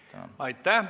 Aitäh!